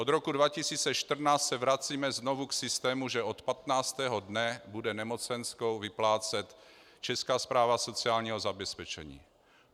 Od roku 2014 se vracíme znovu k systému, že od 15. dne bude nemocenskou vyplácet Česká správa sociálního zabezpečení.